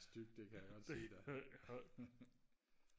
stygt det kan jeg godt sige dig